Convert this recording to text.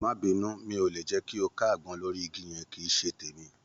Má bínú, mi ò lè jẹ́ kí o ká àgbọn lórí igi yẹn. Kì í ṣe tèmi.